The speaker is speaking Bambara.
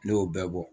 Ne y'o bɛɛ bɔ